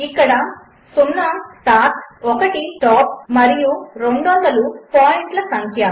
ఇక్కడ 0 స్టార్ట్ 1 స్టాప్మరియు 200 పాయింట్లసంఖ్య